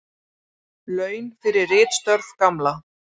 Laun fyrir ritstörf Gamla.